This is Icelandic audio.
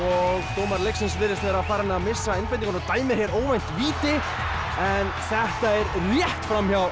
dómari leiksins virðist vera farinn að missa einbeitinguna og dæmir hér óvænt víti en þetta er rétt fram hjá